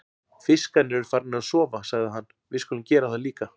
Fiskarnir eru farnir að sofa, sagði hann, við skulum gera það líka.